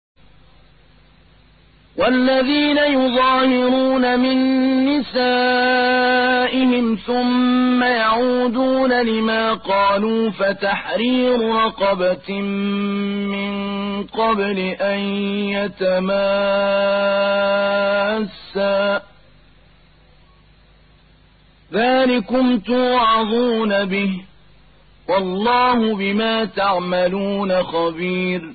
وَالَّذِينَ يُظَاهِرُونَ مِن نِّسَائِهِمْ ثُمَّ يَعُودُونَ لِمَا قَالُوا فَتَحْرِيرُ رَقَبَةٍ مِّن قَبْلِ أَن يَتَمَاسَّا ۚ ذَٰلِكُمْ تُوعَظُونَ بِهِ ۚ وَاللَّهُ بِمَا تَعْمَلُونَ خَبِيرٌ